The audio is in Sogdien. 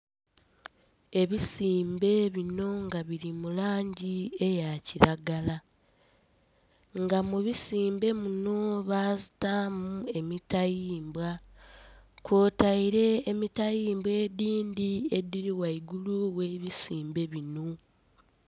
Ebisimbe bino nga biri mulangi eya kilagala nga musimbe muno batamu emitayimbwa kwotaire emitayimbwa edindhi ediri ghaigulu ghe bisimbe bino